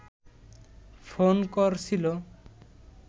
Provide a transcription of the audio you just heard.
phone করছিল